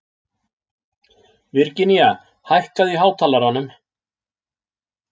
Virginía, hækkaðu í hátalaranum.